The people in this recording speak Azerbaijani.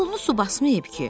Yolunu su basmayıb ki?